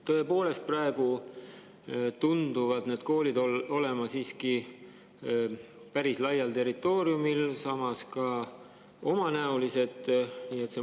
Tõepoolest, praegu tunduvad need koolid olevat siiski päris territooriumil, samas ka omanäolised.